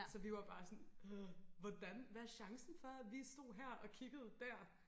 så vi var bare sådan hvordan hvad er chancen for vi stod her og kiggede der